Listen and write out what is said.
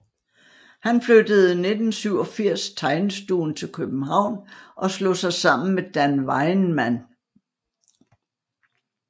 Han flyttede 1987 tegnestuen til København og slog sig sammen med Dan Wajnman